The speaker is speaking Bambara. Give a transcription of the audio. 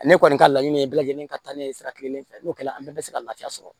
Ale kɔni ka laɲini ye bɛɛ lajɛlen ka taa ne ye sira kelen fɛ n'o kɛra an bɛɛ bɛ se ka lafiya sɔrɔ